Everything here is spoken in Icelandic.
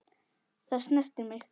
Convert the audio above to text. Það snerti mig.